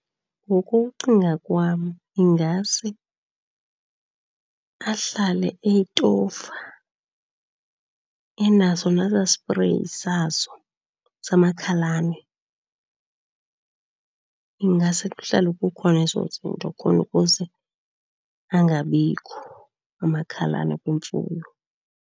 Ngokucinga kwam ingase ahlale eyitofa, enaso nesaa sipreyi sazo samakhalane. Ingase kuhlale kukhona ezo zinto khona ukuze angabikho amakhalane kwimfuyo.